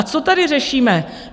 A co tady řešíme?